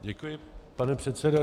Děkuji, pane předsedo.